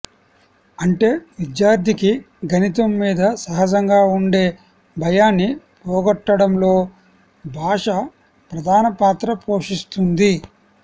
అంటే విద్యార్థికి గణితం మీద సహజంగా ఉండే భయాన్ని పోగొట్టడంలో భాష ప్రధాన పాత్ర పోషిస్తుంది